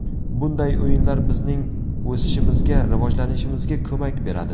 Bunday o‘yinlar bizning o‘sishimizga, rivojlanishimizga ko‘mak beradi.